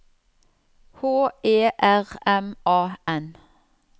H E R M A N